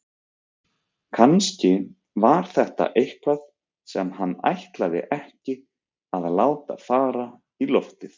Kannski var þetta eitthvað sem hann ætlaði ekki að láta fara í loftið.